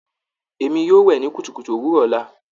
Èmi yóò wẹ ní kùtùkùtù òwúrò ọla.